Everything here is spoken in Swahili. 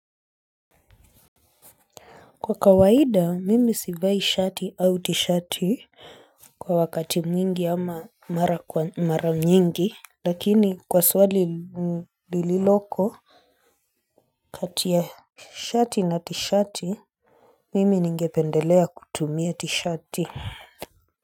Kwa kawaida mimi sivai shati au tishati kwa wakati mwingi ama mara kwa mara nyingi. Lakini kwa swali lililoko kati ya shati na tishati mimi ningependelea kutumia tishati.